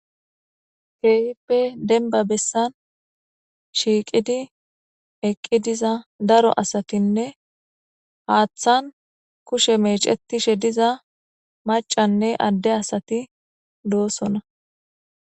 Kehipe denba besan shiiqidi eqi diza daro asatinne hathan kushe mecetishe diza macanne ade asati dosona